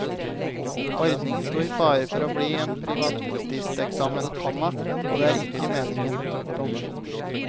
Ordningen sto i fare for bare å bli en privatisteksamen, komma og det er ikke meningen. punktum